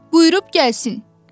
Buyurub gəlsin.